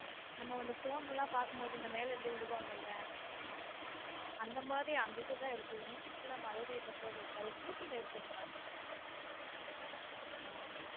நம்ம இந்த phone லாம் பாக்கும்போது மேலே இருந்து விழுவாங்கல் அந்த மாதிரி அங்குட்டு தான் இருக்கும் இங்குட்டு மதுரை இந்த side இருக்காது ஊட்டியில் இருக்கும் அக்கா.